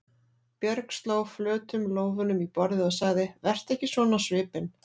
Björg sló flötum lófunum í borðið og sagði: Vertu ekki svona á svipinn.